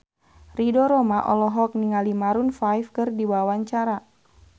Ridho Roma olohok ningali Maroon 5 keur diwawancara